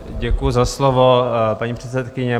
Děkuju za slovo, paní předsedkyně.